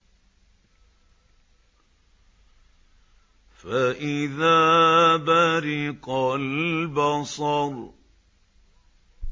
فَإِذَا بَرِقَ الْبَصَرُ